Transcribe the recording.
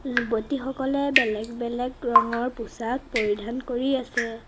যুৱতীসকলে বেলেগ বেলেগ ৰঙৰ পোছাক পৰিধান কৰি আছে।